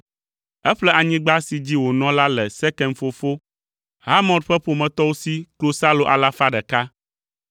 Eƒle anyigba si dzi wònɔ la le Sekem fofo, Hamor ƒe ƒometɔwo si klosalo alafa ɖeka.